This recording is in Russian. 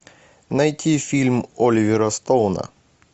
найти фильм оливера стоуна